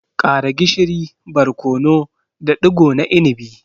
Ƙara gishiri, barkono da digo na inibi.